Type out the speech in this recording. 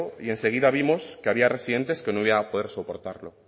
y enseguida vimos que había residentes que no iban a poder soportarlo